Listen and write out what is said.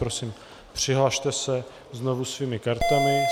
Prosím, přihlaste se znovu svými kartami.